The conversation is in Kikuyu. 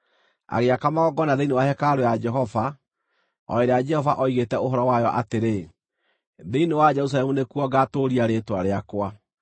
Agĩaka magongona thĩinĩ wa hekarũ ya Jehova, o ĩrĩa Jehova oigĩte ũhoro wayo atĩrĩ, “Thĩinĩ wa Jerusalemu nĩkuo ngaatũũria rĩĩtwa rĩakwa.”